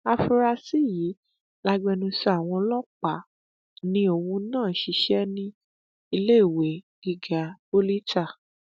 afunrasì yìí lagbẹnusọ àwọn ọlọpàá ni òun náà ń ṣiṣẹ níléèwé gíga poli itah